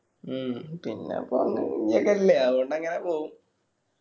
മ്മ് പിന്നെ അപ്പോ അല്ലെ അവോണ്ട് അങ്ങനെ പോവും